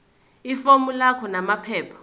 ifomu lakho namaphepha